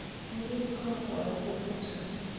Njiru ka okwayo Senet